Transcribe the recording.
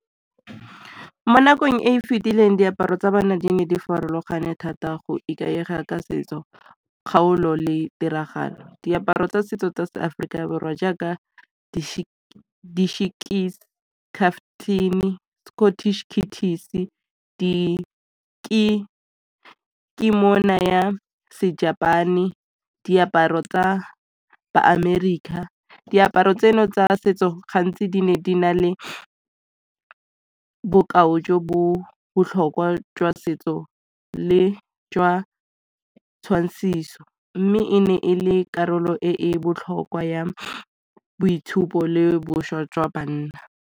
Mo nakong e e fetileng diaparo tsa banna di ne di farologane thata go ikaega ka setso, kgaolo le tiragalo. Diaparo tsa setso tsa Aforika Borwa jaaka di ke mo naya se-Japan-e, diaparo tsa bo America. Diaparo tseno tsa setso gantsi di ne di na le bokao jo bo botlhokwa jwa setso le jwa tshwantshiso, mme e ne e le karolo e botlhokwa ya boitshupo le boswa jwa bana.